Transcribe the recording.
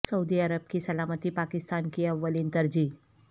سعودی Arab کی سلامتی پاکستان کی اولین ترجیح